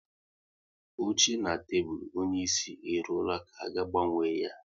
Oche na tebụl onyeisi e ruola ka a ga-agbanwe ya